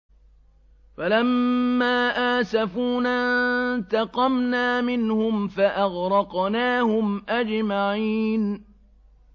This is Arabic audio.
فَلَمَّا آسَفُونَا انتَقَمْنَا مِنْهُمْ فَأَغْرَقْنَاهُمْ أَجْمَعِينَ